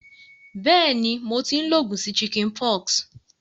Béèni, mo ti n lo ogùn sí chickenpox